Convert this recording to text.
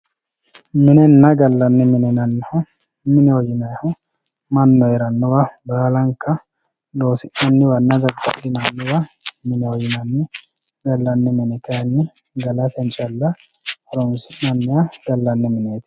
minenna gallanni mine yinannihu mineho yinayiihu mannu heerannowa baalanka loosi'naniwanna dadda'linanniwa mineho yinanni gallanni mine kayiini galate call horonsi'nanniha gallanni mineeti yinay.